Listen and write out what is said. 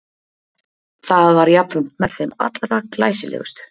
Það var jafnframt með þeim allra glæsilegustu.